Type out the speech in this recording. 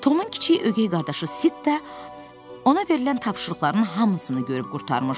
Tomun ögey qardaşı Sitt ona verilən tapşırıqların hamısını görüb qurtarmışdı.